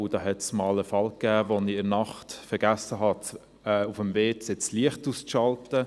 Da gab es einmal einen Fall, als ich in der Nacht vergessen hatte, in der Toilette das Licht auszuschalten.